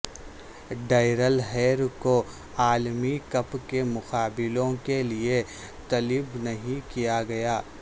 Darrell Hair کو عالمی cup کے مقابلوں کے لیے طلب نہیں کیا گیا